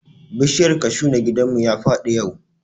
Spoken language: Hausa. Bishiyar kashu na gidan mu ya faɗi yau